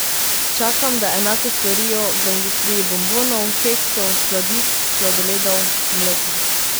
Čakam, da enako storijo v industriji bonbonov, keksov, sladic, sladoledov, mleka ...